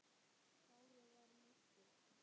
Kári var mættur!